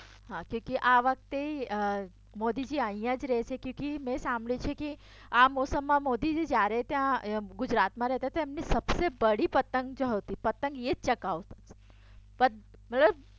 આ વખતે મોદીજી અહીંયા જ રહેશે કયુંકી મેં સાંભળ્યું છે કે આ મોસમમાં મોદીજી જયારે ત્યાં ગુજરાતમાં રેતાંતા એમને સબસે બડી પતંગ જે હોતી પતંગ એ ચગાવતા મતલબ